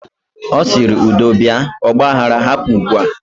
Osiri: Udo bia. Ogba aghara hapụ ugbua